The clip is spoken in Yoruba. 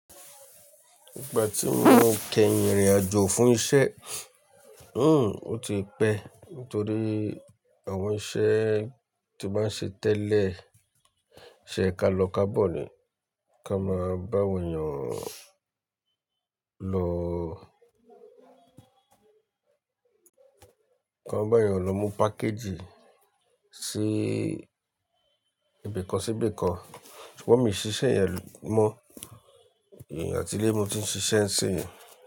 Ìgbà tí mo kẹrin ìrìnàjò fún isẹ́, o ti pẹ́ nítorí àwọn isẹ́ tí máa ń ṣe tẹ́lẹ̀, isẹ́ kalọ-kabọ́ ni. Ká máa bá awon èèyàn lọ, ká máa bá èèyàn lọ mú pákejì sí ibìkan síbìkan. Ṣùgbọ́n mi n ṣiṣẹ́ yẹn mọ́, atilẹ̀ mo ti ń ṣiṣẹ́ ńṣinyi.